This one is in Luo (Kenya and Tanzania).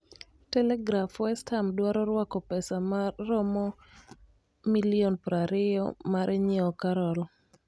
(Telegraf) West Ham dwaro rwako pesa ma romo £20 milion 20 mar nyiewo Carroll.